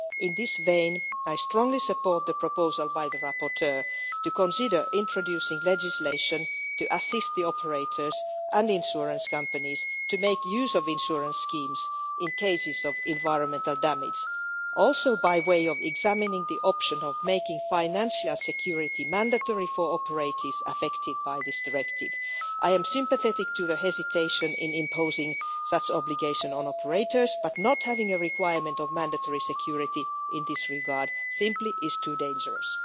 In this vein, I strongly support the proposal by the rapporteur to consider introducing legislation to assist operators and insurance companies to make use of insurance schemes in cases of environmental damage also by way of examining the option of making financial security mandatory for operators affected by this directive. I am sympathetic to the hesitation in imposing such an obligation on operators, but not having a requirement of mandatory security in this regard is simply too dangerous.